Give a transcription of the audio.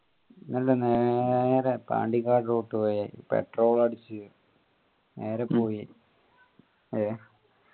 നല്ല നേരെ പാണ്ടികാട് റോട്ട് വഴി petrol ഉ അടിച് നേരെ പോയി